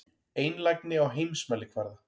Einlægni á heimsmælikvarða.